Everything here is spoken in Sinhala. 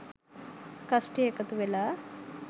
කස්ටිය එකතු වෙලා